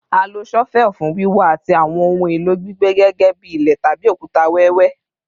A lo shovel fun wiwa ati awọn ohun elo gbigbe gẹgẹbi ile tabi okuta wẹwẹ